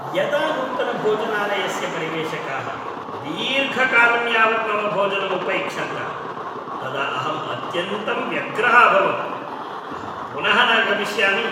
यदा नूतनभोजनालयस्य परिवेषकाः दीर्घकालं यावत् मम भोजनं उपैक्ष्न्त तदा अहम् अत्यन्तं व्यग्रः अभवम्। अहं पुनः न गमिष्यामि।